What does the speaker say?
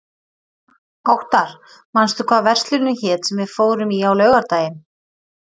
Óttar, manstu hvað verslunin hét sem við fórum í á laugardaginn?